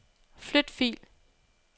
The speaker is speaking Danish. Flyt fil.